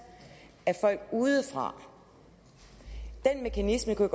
af folk udefra den mekanisme kunne